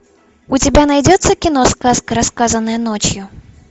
у тебя найдется кино сказка рассказанная ночью